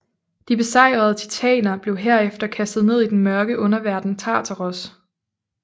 De besejrede titaner blev herefter kastet ned i den mørke underverden Tartaros